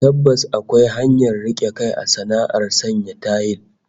Tabbas akwai hanyar rike kai a sana'ar sanya tayil